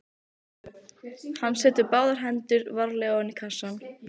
Hann setur báðar hendur varlega ofan í kassann.